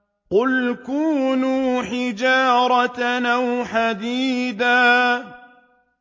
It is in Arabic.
۞ قُلْ كُونُوا حِجَارَةً أَوْ حَدِيدًا